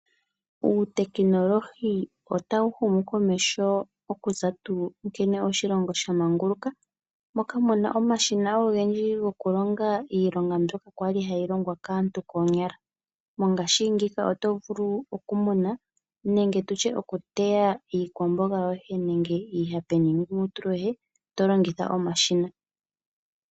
Uutekinolohi otawu humu komeho okuza tuu nkene oshilongo sha manguluka, moka mu na omashina ogendji gokulonga iilonga mbyoka kwa li hayi longwa kaantu koonyala. Mongaashingeyi oto vulu oku muna nenge tutye oku teya iikwamboga yoye nenge iihape niingumutulu yoye, to longitha omashina.